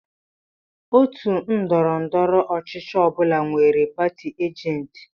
Òtù ndọrọndọrọ ọchịchị ọ bụla nwere pati ajenti.